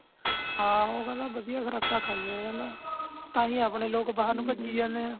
ਆਹੋ ਕਹਿੰਦਾ ਬਦਿਆ ਖੁਰਾਕਾਂ ਖਾਂਦੇ ਨੇ ਕਹਿੰਦਾ ਤਾਹਿ ਆਪਣੇ ਲੋਗ ਬਾਹਰ ਨੂੰ ਪਜੀ ਜਾਂਦੇ ਆ